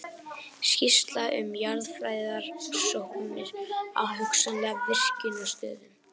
Skýrsla um jarðfræðirannsóknir á hugsanlegum virkjunarstöðum.